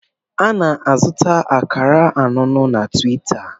A na-azụta akara anụnụ na Tiwita.